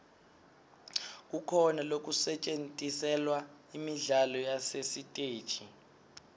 kukhona losetjentiselwa imidlalo yasesiteji